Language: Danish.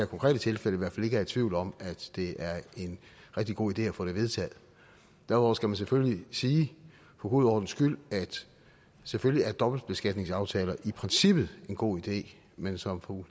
konkrete tilfælde i hvert fald ikke er i tvivl om at det er en rigtig god idé at få det vedtaget derudover skal man selvfølgelig sige for god ordens skyld at selvfølgelig er dobbeltbeskatningsaftaler i princippet en god idé men som fru